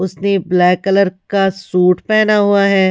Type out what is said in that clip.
उसने black colour का suit पहना हुआ है।